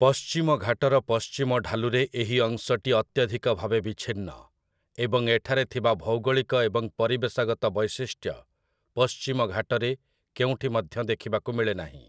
ପଶ୍ଚିମ ଘାଟର ପଶ୍ଚିମ ଢାଲୁରେ ଏହି ଅଂଶଟି ଅତ୍ୟଧିକ ଭାବେ ବିଚ୍ଛିନ୍ନ ଏବଂ ଏଠାରେ ଥିବା ଭୌଗୋଳିକ ଏବଂ ପରିବେଶଗତ ବୈଶିଷ୍ଟ୍ୟ ପଶ୍ଚିମ ଘାଟରେ କେଉଁଠି ମଧ୍ୟ ଦେଖିବାକୁ ମିଳେନାହିଁ ।